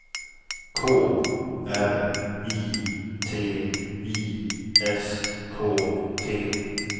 K R I T I S K T